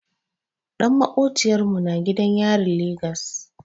Ɗan maƙociyar mu na gidan yarin Legas.